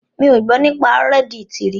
Mi ò gbọ́ nípa reddit rí.